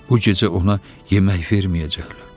Bu gecə ona yemək verməyəcəklər.